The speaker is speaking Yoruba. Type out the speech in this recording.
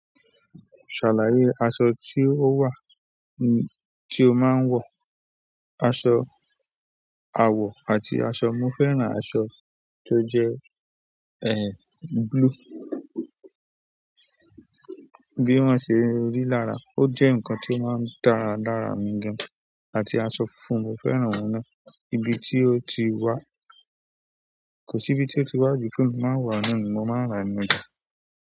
Ṣàlàyé aṣọ tí ó wà, tí o máa ń wọ̀. Aṣọ àwọ̀ àti aṣọ, mo fẹ́ràn aṣọ tó jẹ́ ẹ́ blue. Bi wọn ṣe rí lára o jẹ nkán ti o máa ń dára lára mi gan àti aṣọ funfun, mo fẹ́ràn òun náà. Ibi tí ó tí wá, kò sí ibi tí ó ti wá jù pé mi máa ń wọ̀ á nù. Mo máa ń rà ní ọjà.